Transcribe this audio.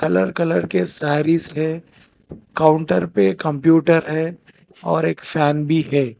Colour colour के सारीज है counter पे कंप्यूटर है और एक फैन भी है।